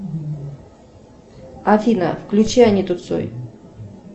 афина включи аниту цой